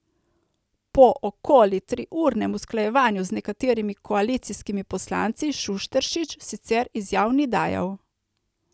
Po okoli triurnem usklajevanju z nekaterimi koalicijskimi poslanci Šušteršič sicer izjav ni dajal.